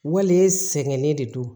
Wale sɛgɛnnen de don